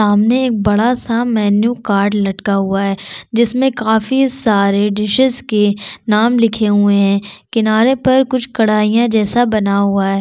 सामने एक बड़ा सा मेनू कार्ड लटका हुआ है जिसमे काफी सारे डिसेस के नाम लिखे हुए है किनारे पर कुछ कढ़ाहिया जैसा बना हुआ है ।